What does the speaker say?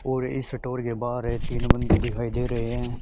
और इस सटोर के बाहरे तीन बंदे दिखाई दे रहे हैं।